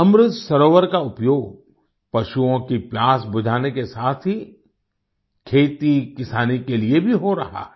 अमृत सरोवर का उपयोग पशुओं की प्यास बुझाने के साथ ही खेतीकिसानी के लिए भी हो रहा है